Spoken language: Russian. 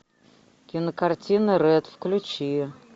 кинокартина рэд включи